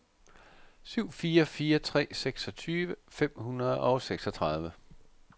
syv fire fire tre seksogtyve fem hundrede og seksogtredive